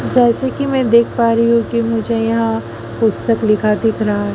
जैसे कि मैं देख पा रही हूं कि मुझे यहां पुस्तक लिखा दिख रहा--